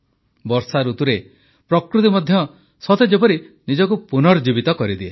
ବର୍ଷାଋତୁରେ ପ୍ରକୃତି ମଧ୍ୟ ସତେଯେପରି ନିଜକୁ ପୁନର୍ଜୀବିତ କରିଦିଏ